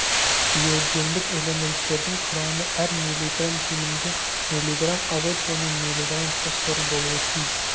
биогендік элементтердің құрамы әр миллиграмм кемінде миллиграмм азот және миллиграмм фосфор болуы тиіс